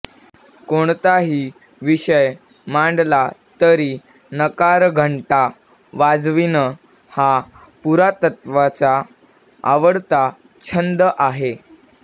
कोणताही विषय मांडला तरी नकारखंटा वाजविणं हा पुरातत्वचा आवडता छंद आहे